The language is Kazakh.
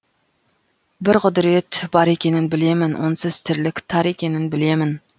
бір құдірет бар екенін білемін онсыз тірлік тар екенін білемін